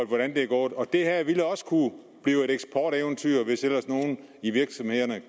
hvordan det er gået og det her ville også kunne blive et eksporteventyr hvis ellers nogen i virksomhederne